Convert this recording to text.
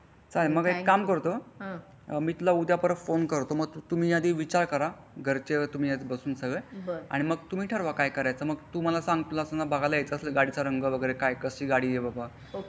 चालेल मग मी एक काम करतो मी तुला उद्या परत फोन करतो मग तुम्ही आधी विचार करा घरचे तुम्ही बसून सगळे मगतुम्ही ठरवा काय करायचं मग तू मला सांग तुम्हला गाडी बघायला यायचा असेल गाडी चा रंग वगरे काय कशी गाडी आहे बाबा.